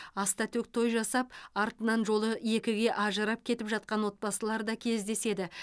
ас та төк той жасап артынан жолы екіге ажырап кетіп жатқан отбасылар да кездеседі